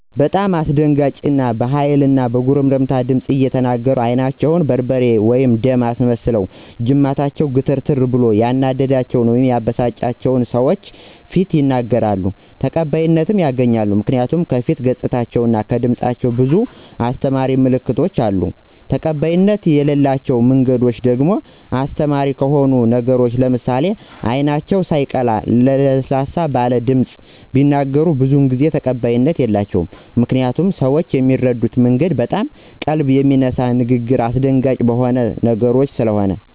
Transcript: በጣም አስደንጋጭ በሀይል እና በጉርምትምት ድምፅ እየተናገሩ አይናቸውን በርበሬ/ደም አስመስለውና ጅማታቸው ግትርትር ብሎ ያናደዳቸውን/የበሳጫቸውን በሰዎች ፊት ይናገራሉ። ተቀባይነትም ያገኛሉ ምክንያቱ ከፊት ገፃቸው እና ከድምፃቸው ብዙ አሰተማሪ ምልክቶች አሉ። ተቀባይነት የለላቸው መንገዶች ደግሞ አስተማሪ ከሆኑ ነገሮች ለምሳሌ አይናቸው ሳየቀላ ለሰለስ ባለ ድምፅ ቢናገሩ ብዙ ጊዜ ተቀባይነት የላቸውም። ምክንያቱም ሰው ሚረዳበት መንገድ በጣም ቀልብ በሚነሳ ንግግርና አሰደንጋጭ በሆኑ ነገሮች ሰለሆነ።